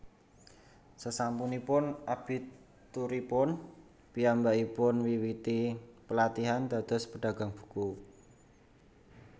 Sasampunipun abituripun piyambakipun miwiti pelatihan dados pedagang buku